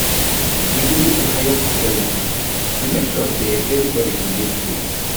we go need to hire security to hire security make sure sey everybodi go dey safe.